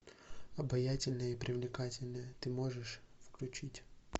обаятельная и привлекательная ты можешь включить